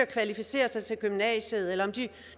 kvalificere sig til gymnasiet eller om de